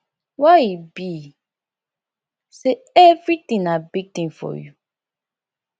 why e be say everything na big thing for you